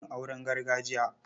Zan so yin auren gargajiya.